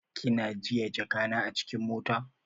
Kinajiye jaka na acikin mota?